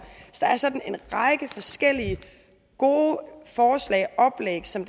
der er sådan en række forskellige gode forslag oplæg som